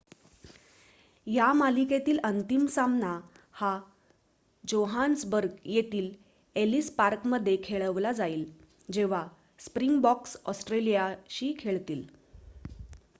या मालिकेतील अंतिम सामना हा जोहान्सबर्ग येथील एलीस पार्क मध्ये खेळवला जाईल जेव्हा स्प्रिंगबॉक्स ऑस्ट्रेलियाशी खेळतील